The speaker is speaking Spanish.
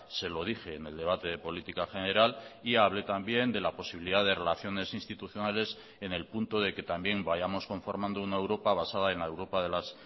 se lo dije en el debate de política general y hablé también de la posibilidad de relaciones institucionales en el punto de que también vayamos conformando una europa basada en la europa de las